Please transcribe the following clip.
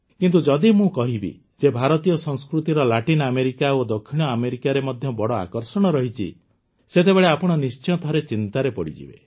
କିନ୍ତୁ ଯଦି ମୁଁ କହିବି ଯେ ଭାରତୀୟ ସଂସ୍କୃତିର ଲାଟିନ ଆମେରିକା ଓ ଦକ୍ଷିଣ ଆମେରିକାରେ ମଧ୍ୟ ବଡ଼ ଆକର୍ଷଣ ରହିଛି ସେତେବେଳେ ଆପଣ ନିଶ୍ଚୟ ଥରେ ଚିନ୍ତାରେ ପଡ଼ିଯିବେ